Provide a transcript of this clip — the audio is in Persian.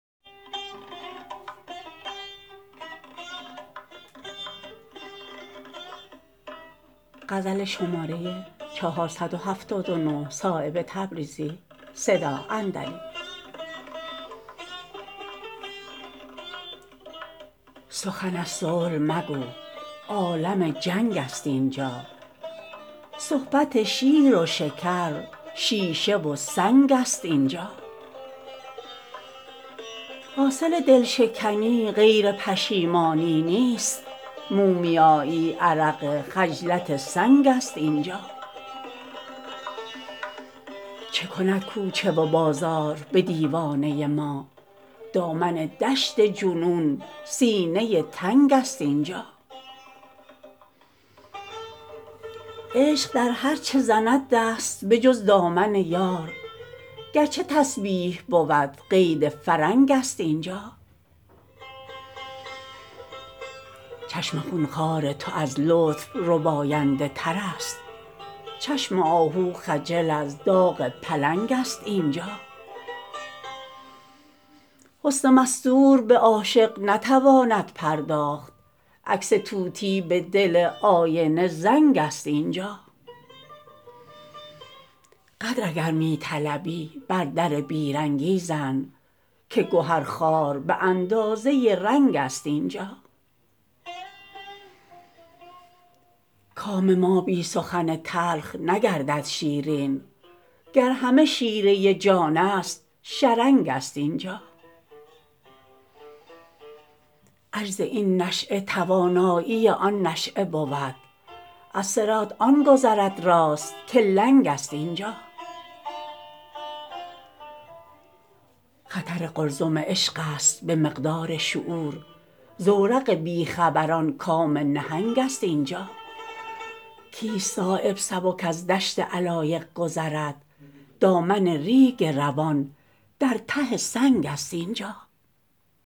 سخن از صلح مگو عالم جنگ است اینجا صحبت شیر و شکر شیشه و سنگ است اینجا حاصل دلشکنی غیر پشیمانی نیست مومیایی عرق خجلت سنگ است اینجا چه کند کوچه و بازار به دیوانه ما دامن دشت جنون سینه تنگ است اینجا عشق در هر چه زند دست به جز دامن یار گرچه تسبیح بود قید فرنگ است اینجا خشم خونخوار تو از لطف رباینده ترست چشم آهو خجل از داغ پلنگ است اینجا حسن مستور به عاشق نتواند پرداخت عکس طوطی به دل آینه زنگ است اینجا قدر اگر می طلبی بر در بیرنگی زن که گهر خوار به اندازه رنگ است اینجا کام ما بی سخن تلخ نگردد شیرین گر همه شیره جان است شرنگ است اینجا عجز این نشأه توانایی آن نشأه بود از صراط آن گذر در است که لنگ است اینجا خطر قلزم عشق است به مقدار شعور زورق بیخبران کام نهنگ است اینجا کیست صایب سبک از دشت علایق گذرد دامن ریگ روان در ته سنگ است اینجا